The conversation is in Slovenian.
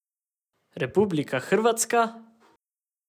Republika Hrvatska?